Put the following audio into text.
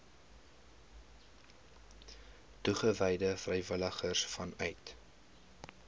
toegewyde vrywilligers vanuit